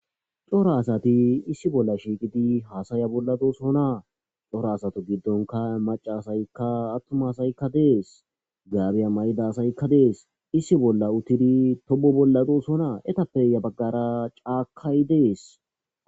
Coro asati issi bolla shiiqidi haasaya bolladosonaa coro asato giddonka maca asaykka attuma saykka dees gaabiya may7da asaykka dees issi bolla uttidi tobo bolladosonaa etappeya baggara caakay dees.